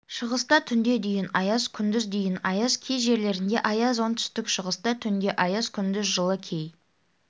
шығыста түнде дейін аяз күндіз дейін аяз кей жерлерде аяз оңтүстік-шығыста түнде аяз күндіз жылы кей